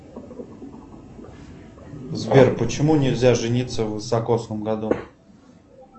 сбер почему нельзя жениться в високосном году